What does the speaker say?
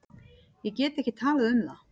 Ég get ekki talað um það.